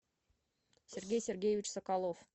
сергей сергеевич соколов